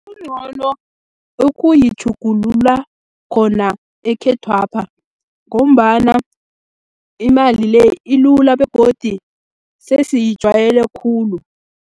Kungcono, ukuyitjhugulula khona ekhethwapha, ngombana imali le, ilula begodi sesiyijwayele khulu.